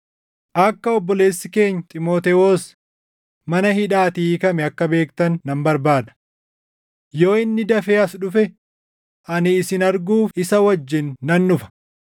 Akka obboleessi keenya Xiimotewos mana hidhaatii hiikame akka beektan nan barbaada. Yoo inni dafee as dhufe ani isin arguuf isa wajjin nan dhufa.